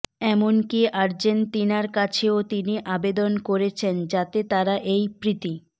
এমনকি আর্জেন্তিনার কাছেও তিনি আবেদন করেছেন যাতে তারা এই প্রীতি